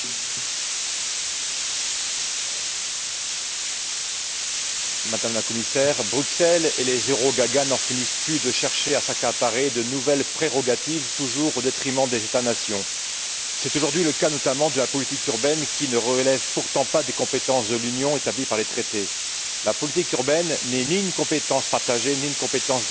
Madame la Présidente, Madame la Commissaire, Bruxelles et les euro gagas n'en finissent plus de chercher à s'accaparer de nouvelles prérogatives toujours au détriment des États nations. C'est aujourd'hui le cas notamment de la politique urbaine qui ne relève pourtant pas des compétences de l'Union établies par les traités. La politique urbaine n'est ni une compétence partagée ni une compétence d'appui. C'est pourquoi ce texte ne devrait même pas être discuté en plénière.